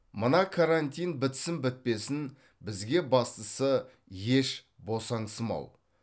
мына карантин бітсін бітпесін бізге бастысы еш босаңсымау